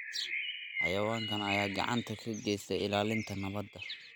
Xayawaankan ayaa gacan ka geysta ilaalinta nabadda.